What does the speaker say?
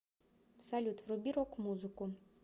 салют вруби рок музыку